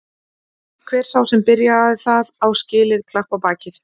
Hver sá sem byrjaði það á skilið klapp á bakið.